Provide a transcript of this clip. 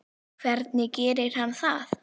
Hvernig gerir hann það?